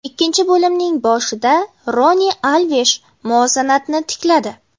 Ikkinchi bo‘limning boshida Roni Alvesh muvozanatni tikladi.